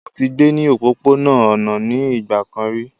Mọ tí gbé ní òpópó-ònà ní nigbákán rí